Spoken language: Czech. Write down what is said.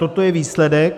Toto je výsledek.